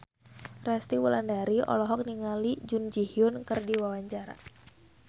Resty Wulandari olohok ningali Jun Ji Hyun keur diwawancara